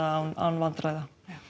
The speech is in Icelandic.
án án vandræða